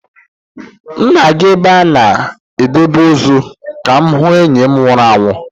M na-aga ebe a na-edebe ozu ka m hụ enyi m nwụrụ anwụ